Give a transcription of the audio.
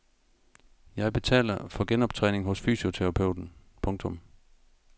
Jeg betaler for genoptræning hos fysioterapeuten. punktum